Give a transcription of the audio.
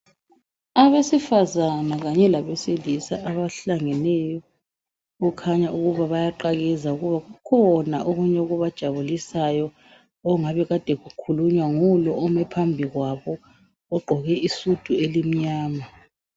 Abesifazana kanye labesilisa, abahlangeneyo, kukhanya ukuba bayaqakeza. Kukhona okunye okubajabulisayo, okungabe kade kukhulunywa ngulo omi phambi kwabo, egqoke isudu elimnyama.